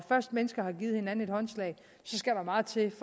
først mennesker har givet hinanden håndslag så skal der meget til